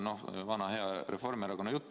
Noh, see on vana hea Reformierakonna jutt.